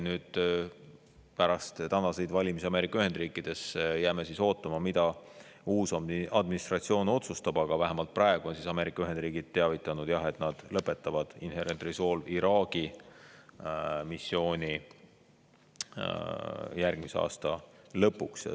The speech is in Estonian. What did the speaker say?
Jääme pärast tänaseid valimisi Ameerika Ühendriikides ootama, mida uus administratsioon otsustab, aga praegu on Ameerika Ühendriigid teavitanud, et nad lõpetavad Inherent Resolve'i Iraagi missiooni järgmise aasta lõpuks.